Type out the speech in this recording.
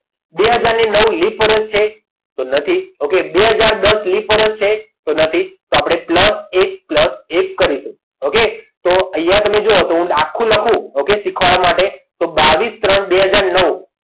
બે હાજર ને નવ લીપ વર્ષ છે તો નથી plus બે હજારને દસ લિપ વર્ષ છે તો આપણે plus એક plus એક કરીશું okay અહીંયા તમે જુઓ તો દાખલો લખું શીખવાડવા માટે તો બાવીસ ત્રણ બે હાજર નવ